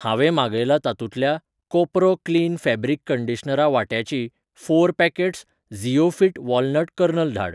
हांवें मागयलां तातुंतल्या कोपरो क्लीन फॅब्रीक कंडीशनरा वांट्याचीं फोर पॅकेट्स झिओफिट वॉलनट कर्नल धाड.